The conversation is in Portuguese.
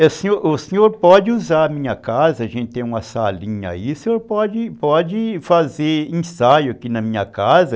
O senhor o senhor pode usar a minha casa, a gente tem uma salinha aí, o senhor pode pode fazer ensaio aqui na minha casa.